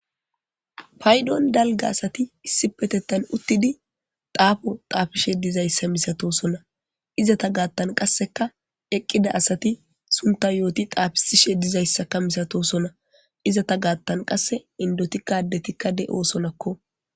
Paydon dalga asat issipetetan utid xafo xafishe dizaysa misatosona, izeta gathan qaseka eqida asat sunta yot xafisishe dizaysaka misatosona izeta gatan qase indotika adetikka de'osonako.